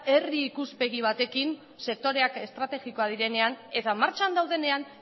herri ikuspegi batekin sektoreak estrategikoak direnean eta martxan daudenean